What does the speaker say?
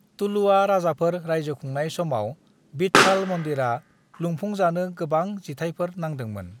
तुलुवा राजाफोर रायजो खुंनाय समाव विठ्ठाल मन्दिरा लुफुंजानो गोबां जिथायफोर नांदोंमोन।